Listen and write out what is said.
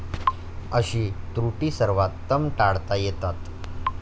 अशी त्रुटी सर्वोत्तम टाळता येतात.